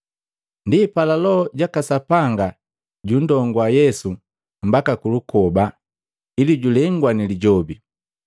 Ndipala Loho jaka Sapanga jundongua Yesu mbaka kulukoba ili julengwa ni Lijobi.